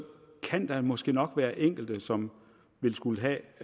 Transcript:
kan der måske nok være enkelte som ville skulle have